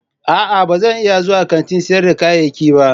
A'a ba zan iya zuwa kantin sayar da kayayyaki ba.